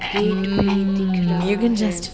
Gate भी दिख रहा है।